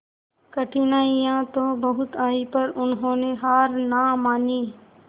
कठिनाइयां तो बहुत आई पर उन्होंने हार ना मानी